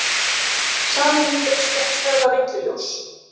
Sameining heilsugæslustöðva villuljós